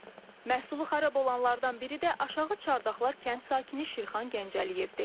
Məhsulu xarab olanlardan biri də Aşağı Çardaqlar kənd sakini Şirxan Gəncəliyevdir.